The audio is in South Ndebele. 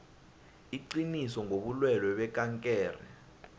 iqiniso ngobulwelwe bekankere